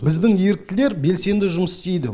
біздің еріктілер белсенді жұмыс істейді